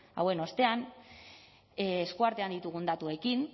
zail hauen ostean eskuartean ditugun datuekin